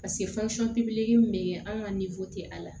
min bɛ kɛ an ka a la